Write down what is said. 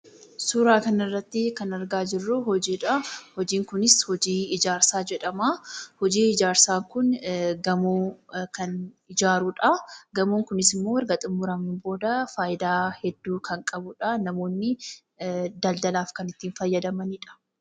Suuraa kana irratti kan argaa jirru hojiidhaa. Hojiin kunis hojii ijaarsaa jedhama. Hojiin ijaarsaa kun gamoo kan ijaarudha. Gamoon kunis erga xumuramee booda faayidaa hedduu kan qabudha. Namoonni daldalaaf kan itti fayyadamanidha.